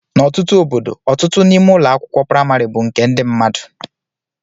N'ọtụtụ obodo, ọtụtụ n'ime ụlọ akwụkwọ praịmarị bụ nke ndị mmadụ.